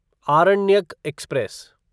Aranyaka express